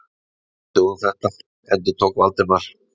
Við athugum þetta- endurtók Valdimar.